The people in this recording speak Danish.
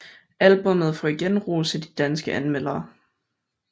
Albummet får igen ros af de danske anmeldere